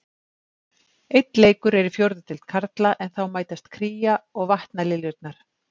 Einn leikur er í fjórðu deild karla en þá mætast Kría og Vatnaliljurnar.